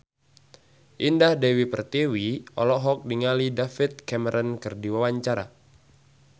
Indah Dewi Pertiwi olohok ningali David Cameron keur diwawancara